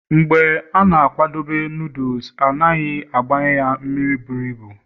mgbe ị na-akwadebe noodles, ọ dịghị agbai ya mmiri buru ibu